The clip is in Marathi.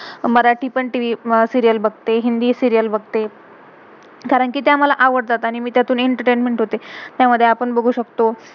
मराठी पण टीवी~सीरियल TVserial बघते, हिंदी सीरियल serial बघते, कारण कि त्या मला, आवडतात, आणि मे मी त्यातून एंटरटेनमेंट entertainment होते.